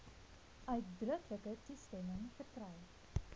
uitdruklike toestemming verkry